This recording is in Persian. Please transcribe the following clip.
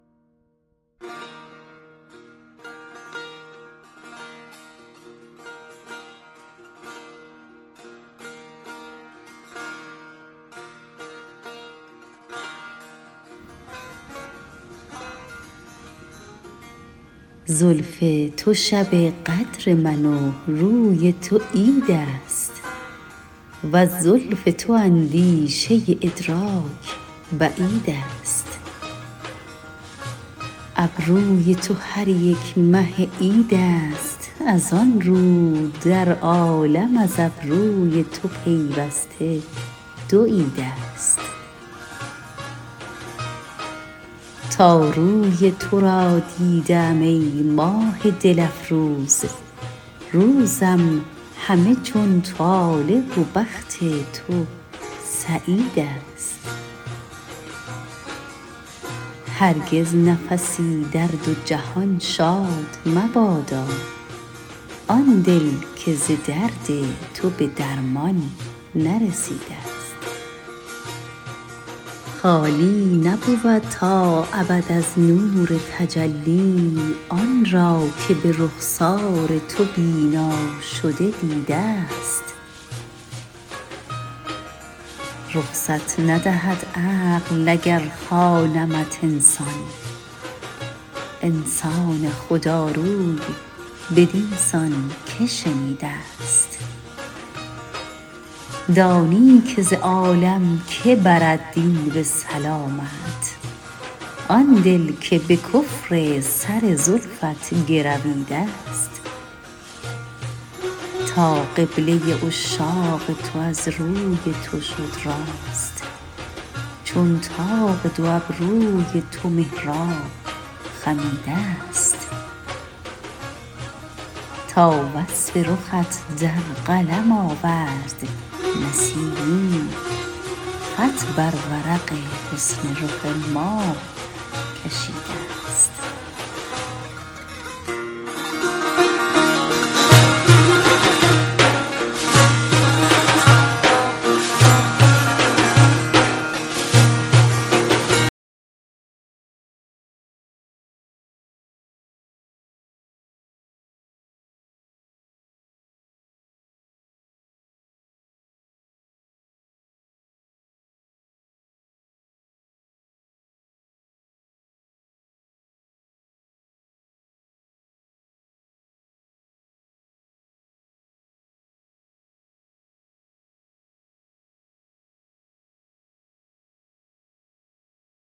زلف تو شب قدر من و روی تو عید است وز زلف تو اندیشه ادراک بعید است ابروی تو هریک مه عید است از آنرو در عالم از ابروی تو پیوسته دو عید است تا روی تو را دیده ام ای ماه دل افروز روزم همه چون طالع و بخت تو سعید است هرگز نفسی در دو جهان شاد مبادا آن دل که ز درد تو به درمان نرسیده است خالی نبود تا ابد از نور تجلی آن را که به رخسار تو بینا شده دیده است رخصت ندهد عقل اگر خوانمت انسان انسان خداروی بدینسان که شنیده است دانی که ز عالم که برد دین به سلامت آن دل که به کفر سر زلفت گرویده است تا قبله عشاق تو از روی تو شد راست چون طاق دو ابروی تو محراب خمیده است تا وصف رخت در قلم آورد نسیمی خط بر ورق حسن رخ ماه کشیده است